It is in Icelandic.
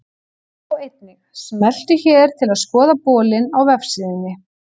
Sjá einnig: Smelltu hér til að skoða bolinn á vefsíðunni.